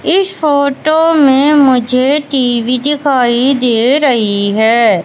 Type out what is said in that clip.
इस फोटो में मुझे टी_वी दिखाई दे रही है।